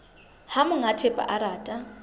ha monga thepa a rata